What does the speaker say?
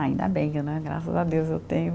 Ainda bem né, graças a Deus eu tenho.